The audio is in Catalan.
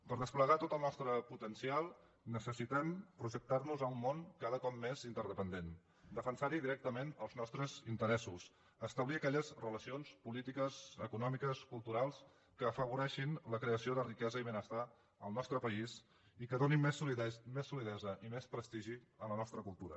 per desplegar tot el nostre potencial necessitem projectar nos a un món cada cop més interdependent defensar hi directament els nostres interessos establir aquelles relacions polítiques econòmiques culturals que afavoreixin la creació de riquesa i benestar al nostre país i que donin més solidesa i més prestigi a la nostra cultura